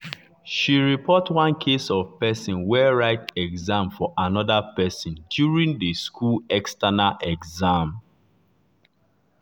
she report one case of person wey write exam for another person during the school external exam.